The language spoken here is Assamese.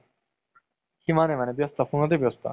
সিমানে মানে ব্যস্ত phone তে ব্যস্ত